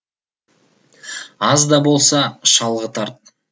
аз да болса шалғы тарт